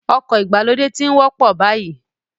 Ọkọ̀ ìgbàlódé ti ń wọ́pọ̀ báyìí